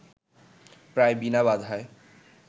প্রায় বিনা বাধায়